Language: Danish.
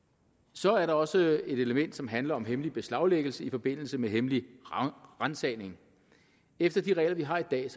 så er der også et element som handler om hemmelig beslaglæggelse i forbindelse med hemmelige ransagninger efter de regler vi har i dag